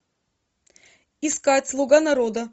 искать слуга народа